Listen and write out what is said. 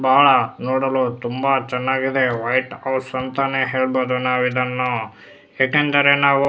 ಬಹಳ ನೋಡಲು ತುಂಬಾ ಚೆನ್ನಾಗಿದೆ ವೈಟ್ ಹೌಸ್ ಅಂತಾನೆ ಹೇಳ್ಬಹುದು ನಾವು ಇದನ್ನು ಯಾಕೆಂದರೆ ನಾವು --